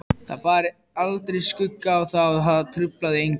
Það bar aldrei skugga á það og það truflaði engan.